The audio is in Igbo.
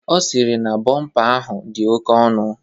Ọ sịrị na bọmpa ahụ dị oke ọnụ.